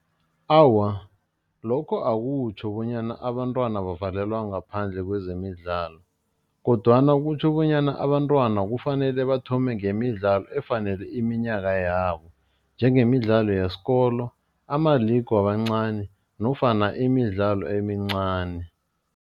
Awa, lokho akutjho bonyana abantwana bavalelwa ngaphandle kwezemidlalo kodwana kutjho bonyana abantwana kufanele bathome ngemidlalo efanele iminyaka yabo, njengemidlalo yesikolo ama-league wabancani nofana imidlalo emincani.